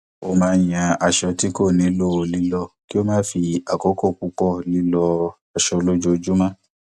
ó máa ń yan aṣọ tí kò nílò lílọ kí ó má fi àkókò púpọ lílọ aṣọ lójoojúmọ